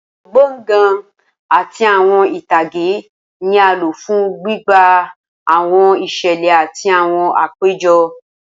Awọn gbọngàn ati awọn itage ni a lo fun gbigba awọn iṣẹlẹ ati awọn apejọ